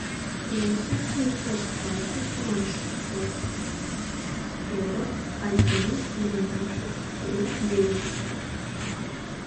восемь семьсот двадцать ноль шестьсот сорок один двенадцать три девять